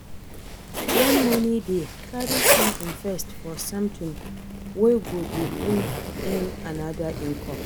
When money dey, carry some invest for something wey go dey bring in oda income